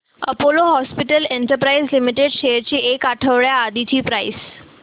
Apollo hospitals enterprise limited shares ची एक आठवड्या आधीची प्राइस